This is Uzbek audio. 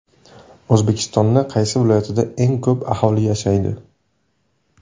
O‘zbekistoni qaysi viloyatda eng ko‘p aholi yashaydi?.